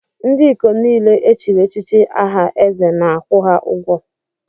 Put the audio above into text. Ndị ikom niile echiri echichi aha eze na-akwụ ha ụgwọ.